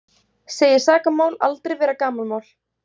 Segir sakamál aldrei vera gamanmál